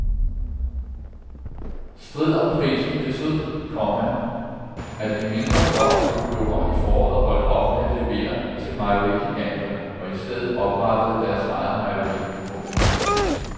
Strid om prisen betød, komma at en mindre flok økologer i foråret holdt op med at levere til mejerigiganterne og i stedet oprettede deres eget mejeri. punktum